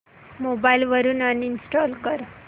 mobile वरून uninstall कर